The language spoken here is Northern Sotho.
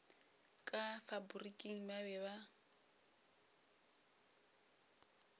ka faporiking ba be ba